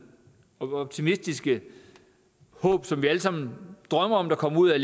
og optimistiske håb som vi alle sammen drømmer om der kommer ud af